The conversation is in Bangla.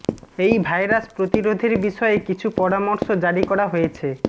এই ভাইরাস প্রতিরোধের বিষয়ে কিছু পরামর্শ জারি করা হয়েছে